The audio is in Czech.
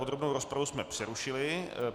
Podrobnou rozpravu jsme přerušili.